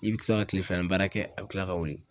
I bɛ kila ka kile filani baara kɛ a bɛ kila ka wili